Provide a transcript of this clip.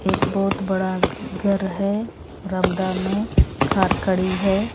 एक बहुत बड़ा घर है में कार खड़ी है।